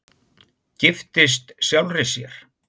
Giftist sjálfri sér